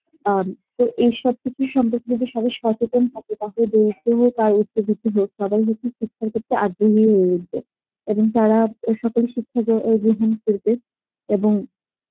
অ্যাঁ তো এস সবকিছুর সম্পর্কে যদি সবাই সচেতন থাকে হোক কিছু হোক সবাই কিন্তু তার ক্ষেত্রে আগ্রহী হয়ে উঠবে, এবং তারা সকল গ্রহণ করব এবং